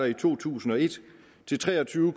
i to tusind og et til tre og tyve